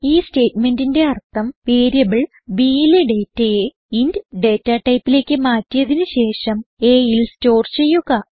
ഈ സ്റ്റേറ്റ്മെന്റിന്റെ അർത്ഥം വേരിയബിൾ bയിലെ ഡേറ്റയെ ഇന്റ് ഡേറ്റ ടൈപ്പിലേക്ക് മാറ്റിയതിന് ശേഷം aയിൽ സ്റ്റോർ ചെയ്യുക